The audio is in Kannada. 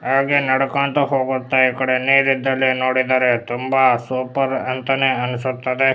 ಹಾಗೆ ನಡೆಕೊಂತ ಹೋಗುತ್ತಾ ಈ ಕಡೆ ನೀರ್ ಇದ್ದಲ್ಲಿ ನೋಡಿದ್ದರೆ ತುಂಬಾ ಸೂಪರ್ ಅಂತಾನೆ ಅನ್ನಿಸುತ್ತಿದೆ.